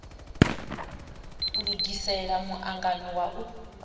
lugisela mu angano wa u